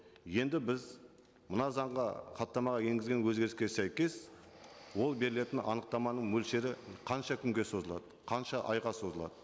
енді біз мына заңға хаттамаға енгізген өзгеріске сәйкес ол берілетін анықтаманың мөлшері қанша күнге созылады қанша айға созылады